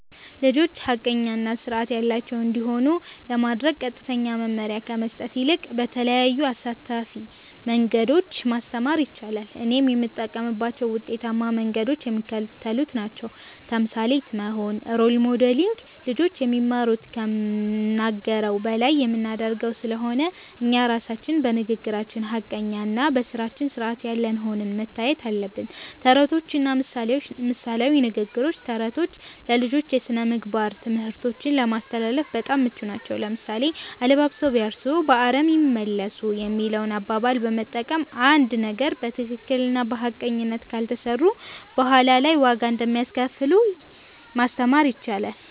ልጆች ሐቀኛ እና ሥርዓት ያላቸው እንዲሆኑ ለማድረግ ቀጥተኛ መመሪያ ከመስጠት ይልቅ በተለያዩ አሳታፊ መንገዶች ማስተማር ይቻላል። እኔም የምጠቀምባቸው ውጤታማ መንገዶች የሚከተሉት ናቸው። ተምሳሌት መሆን (Role Modeling)፦ ልጆች የሚማሩት ከምንናገረው በላይ በምናደርገው ስለሆነ፣ እኛ ራሳችን በንግግራችን ሐቀኛና በሥራችን ሥርዓት ያለን ሆነን መታየት አለብን። ተረቶችና ምሳሌያዊ ንግግሮች፦ ተረቶች ለልጆች የሥነ-ምግባር ትምህርቶችን ለማስተላለፍ በጣም ምቹ ናቸው። ለምሳሌ፣ "አለባብሰው ቢያርሱ በአረም ይመለሱ" የሚለውን አባባል በመጠቀም፣ አንድን ነገር በትክክልና በሐቀኝነት ካልሰሩት በኋላ ላይ ዋጋ እንደሚያስከፍል ማስተማር ይቻላል።